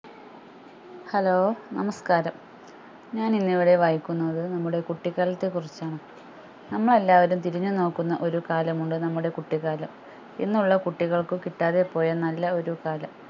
hello നമസ്‌കാരം ഞാൻ ഇന്ന് ഇവിടെ വായിക്കുന്നത് നമ്മുടെ കുട്ടിക്കാലത്തെ കുറിച്ചാണ് നമ്മൾ എല്ലാവരും തിരിഞ്ഞു നോക്കുന്ന ഒരു കാലം ഉണ്ട് നമ്മുടെ കുട്ടികാലം ഇന്ന് ഉള്ള കുട്ടികൾക്കു കിട്ടാതെ പോയ നല്ല ഒരു കാലം